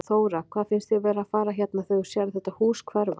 Þóra: Hvað finnst þér vera að fara hérna þegar þú sérð þetta hús hverfa?